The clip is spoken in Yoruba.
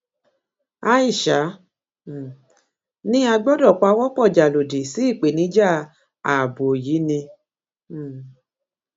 aisha um ni a gbọdọ pawọpọ já lòdì sí ìpèníjà ààbò yìí ni um